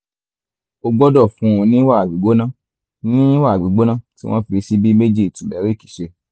o gbọ́dọ̀ fún un ní wàrà gbígbóná ní wàrà gbígbóná tí wọ́n fi ṣíbí méjì turmeric se